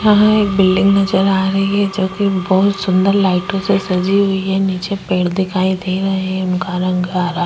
यहाँ एक बिल्डिंग नजर आ रही है जो कि बहोत सुन्दर लाइटों से सजी हुई है। नीचे पेड़ दिखाई दे रहे है इनका रंग हरा --